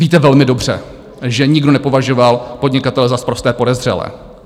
Víte velmi dobře, že nikdo nepovažoval podnikatele za sprosté podezřelé.